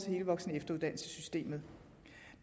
hele voksen og efteruddannelsessystemet